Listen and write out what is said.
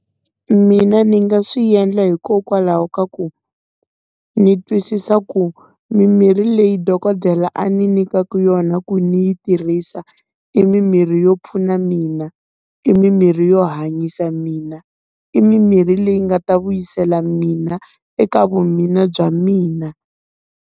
Mina ni nga swi endla hikokwalaho ka ku ni twisisa ku mimirhi leyi dokodela a ni nyikaka yona, ku ni yi tirhisa i mimirhi yo pfuna mina, i mimirhi yo hanyisa mina, i mimirhi leyi nga ta vuyisela mina eka vumina bya mina.